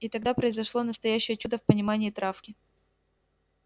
и тогда произошло настоящее чудо в понимании травки